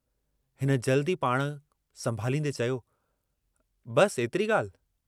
हिन जल्दु ई पाण संभालींदे चयो, बस, एतिरी ॻाल्हि!